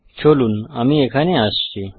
চলুন আমি এখানে আসছি